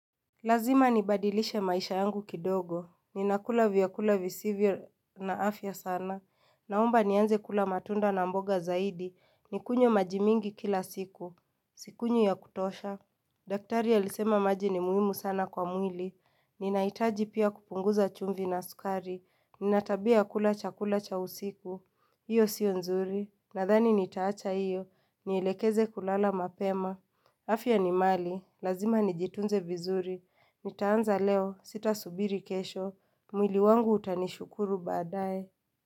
Lazima nibadilishe maisha yangu kidogo. Ninakula vyakula visivyo na afya sana. Naomba nianze kula matunda na mboga zaidi. Ninywe maji mengi kila siku. Sinywi ya kutosha. Daktari alisema maji ni muhimu sana kwa mwili. Ninahitaji pia kupunguza chumvi na sukari. Nina tabia ya kula chakula cha usiku. Hiyo sio nzuri. Nadhani nitaacha hiyo. Nielekeze kulala mapema. Afya ni mali. Lazima nijitunze vizuri. Nitaanza leo, sitasubiri kesho, mwili wangu utanishukuru baadaye.